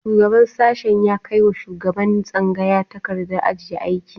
Shugaban sashen ya kai wa shugaban tsangaya takardar ajiye aiki